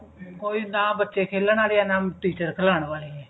ਕੋਈ ਨਾ ਬੱਚੇ ਖੇਲਣ ਆਲੇ ਐ ਨਾ teacher ਖੜਾਉਣ ਵਾਲੇ ਐ